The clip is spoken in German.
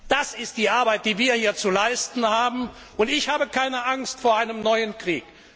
Das ist die Arbeit, die wir hier zu leisten haben! Und ich habe keine Angst vor einem neuen Krieg.